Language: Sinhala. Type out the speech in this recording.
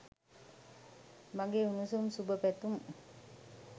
මගේ උණුසුම් සුබ පැතුම්